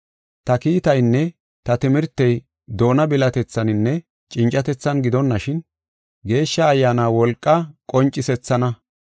Ta kiitaynne ta timirtey doona bilatethaninne cincatethan gidonashin, Geeshsha Ayyaana wolqa qoncisethaana.